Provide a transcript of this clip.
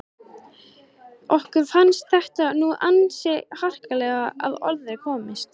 Okkur fannst þetta nú ansi harkalega að orði komist.